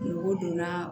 Nugu donna